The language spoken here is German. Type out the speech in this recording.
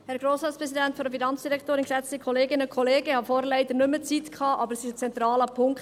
Ich hatte vorhin leider keine Zeit mehr, doch es ist ein zentraler Punkt.